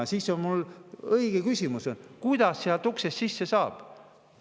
Ja siis on mul õige küsimus: kuidas sealt uksest sisse saab?